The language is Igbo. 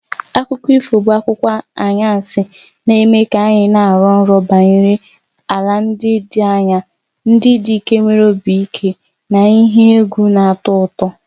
Akụkọ ifo bụ akụkọ anwansi na-eme ka anyị na-arọ nrọ banyere ala ndị dị anya, ndị dike nwere obi ike na ihe egwu na-atọ ụtọ.